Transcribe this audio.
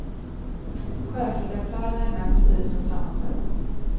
Chefredaktörerna är med på styrelsens sammanträden.